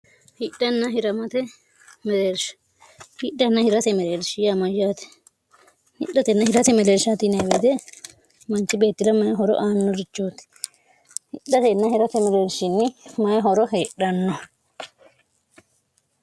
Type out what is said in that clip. hidhnn hirmate meeershihidhanna hirase meleelshiyya mayyaate hidhatenna hirate meleelshatineewede manci beettila mayihoro aanno richooti hidhatenna hirate meleelshinni mayihoro heedhanno